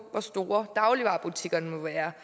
hvor store dagligvarebutikkerne må være